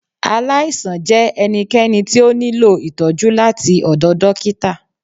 Aláìsàn jẹ ẹnikẹni ti o niló itọjú latí ọdọ dókítà.